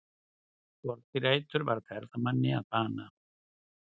Skordýraeitur varð ferðamanni að bana